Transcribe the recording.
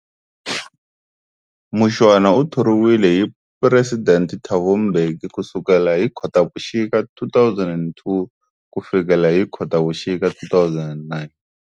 Mushwana u thoriwile hi President Thabo Mbeki kusukela hi Khotavuxika 2002 kufikela hi Khotavuxika 2009.